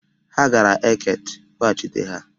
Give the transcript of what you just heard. Ha gara Eket, kpọghachịta ha!